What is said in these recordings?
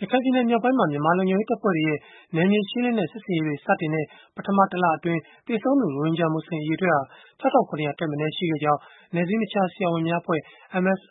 ရခိုင်ပြည်နယ် မြောက်ပိုင်းမှာ မြန်မာလုံခြုံရေးတပ်ဖွဲ့တွေရဲ့ နယ်မြေရှင်းလင်းတဲ့ စစ်ဆင်ရေးတွေ စတင်တဲ့ ပထမတလအတွင်း သေဆုံးသူ ရိုဟင်ဂျာမူဆလင် အရေအတွက်ဟာ ၆,၇၀၀ ထက်မနည်း ရှိခဲ့ကြောင်း နယ်စည်းမခြား ဆရာဝန်များအဖွဲ့ (MSF)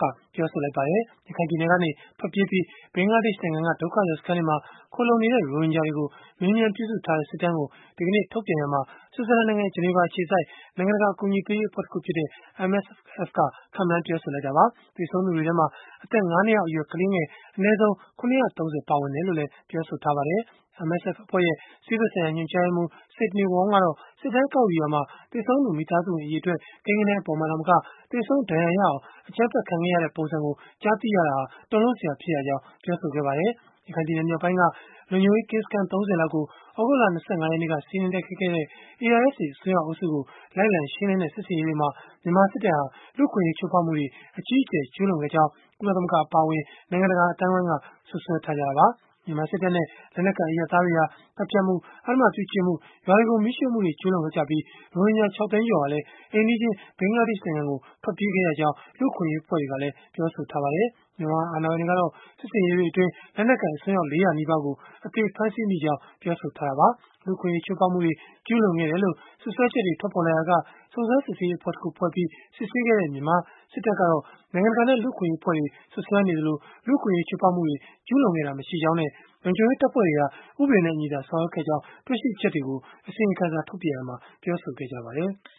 က ပြောဆိုလိုက်ပါတယ်။ ရခိုင်ပြည်နယ်ကနေ ထွက်ပြေးပြီး ဘင်္ဂလားဒေ့ရှ်နိုင်ငံက ဒုက္ခသည်စခန်းတွေမှာ ခိုလှုံနေတဲ့ ရိုဟင်ဂျာတွေကို မေးမြန်းပြုစုထားတဲ့ စစ်တမ်းကို ဒီကနေ့ထုတ်ပြန်ရာမှာ ဆွစ်ဇာလန်နိုင်ငံ ဂျနီဗာအခြေစိုက် နိုင်ငံတကာ အကူအညီပေးရေး အဖွဲ့တခုဖြစ်တဲ့ MSF က ခန့်မှန်းပြောဆိုခဲ့တာပါ။ သေဆုံးသူတွေထဲမှာ အသက် ၅ နှစ်အောက်အရွယ်ကလေးငယ် အနည်းဆုံး ၇၃၀ ပါဝင်တယ်လို့လည်း ဆိုပါတယ်။ MSF အဖွဲ့ရဲ့ ဆေးဖက်ဆိုင်ရာ ညွှန်ကြားရေးမှူး Sidney Wong ကတော့ စစ်တမ်းကောက်ယူရာမှာ သေဆုံးသူ မိသားစုဝင် အရေအတွက် ကိန်းဂဏန်း အပေါ်မှာသာမက၊ သေဆုံး ဒဏ်ရာရအောင် အကြမ်းဖက်ခံရတဲ့ ပုံစံကို ကြားသိခဲ့ရတာဟာ တုန်လှုပ်စရာ ဖြစ်ရကြောင်းလည်း ပြောဆိုခဲ့ပါတယ်။ ရခိုင်ပြည်နယ် မြောက်ပိုင်းက လုံခြုံရေးကင်းစခန်း ၃၀ လောက်ကို သြဂုတ်လ ၂၅ ရက်နေ့က စီးနင်းတိုက်ခိုက်ခဲ့တဲ့ ARSA အစွန်းရောက် အုပ်စုကို လိုက်လံရှင်းလင်းတဲ့ စစ်ဆင်ရေးတွေမှာ မြန်မာစစ်တပ်ဟာ လူ့အခွင့်အရေး ချိုးဖောက်မှုတွေ အကြီးအကျယ် ကျုးလွန်ခဲ့ကြောင်း ကုလသမဂ္ဂ အပါအဝင် နိုင်ငံတကာ အသိုင်းအဝန်းက စွပ်စွဲထားကြတာပါ။ မြန်မာစစ်တပ်နဲ့ လက်နက်ကိုင် အရပ်သားတွေဟာ သတ်ဖြတ်မှု၊ အဓမ္မပြုကျင့်မှု ရွာတွေကို မီးရှို့မှုတွေ ကျုးလွန်ခဲ့ကြပြီး၊ ရိုဟင်ဂျာ ၆ သိန်းကျော်ဟာလည်း အိမ်နီးချင်း ဘင်္ဂလားဒေ့ရှ်နိုင်ငံကို ထွက်ပြေးခဲ့ရကြောင်း လူ့အခွင့်အရေး အဖွဲ့တွေကလည်း ပြောဆိုထားကြပါတယ်။ မြန်မာအာဏာပိုင်တွေကတော့ စစ်ဆင်ရေးတွေအတွင်း လက်နက်ကိုင် အစွန်းရောက် ၄၀၀ နီးပါးကို အသေဖမ်းဆီးမိကြောင်း ပြောဆိုထားတာပါ။ လူ့အခွင့်အရေး ချိုးဖောက်မှုတွေ ကျုးလွန်ခဲ့တယ်လို့ စွပ်စွဲချက်တွေ ထွက်ပေါ်လာရာက စုံစမ်းစစ်ဆေးရေးအဖွဲ့တခုဖွဲ့ပြီး စစ်ဆေးခဲ့တဲ့ မြန်မာစစ်တပ်ကတော့၊ နိုင်ငံတကာနဲ့ လူ့အခွင့်အရေး အဖွဲ့တွေက စွပ်စွဲနေသလို၊ လူ့အခွင့်အရေး ချိုးဖောက်မှုတွေ ကျုးလွန်ခဲ့တာ မရှိကြောင်းနဲ့ လုံခြုံရေး တပ်ဖွဲ့တွေဟာ ဥပဒေနဲ့အညီသာ ဆောင်ရွက်ခဲ့ကြောင်း တွေ့ရှိချက်တွေကို အစီရင်ခံစာ ထုတ်ပြန်ရာမှာ ပြောဆိုခဲ့ကြပါတယ်။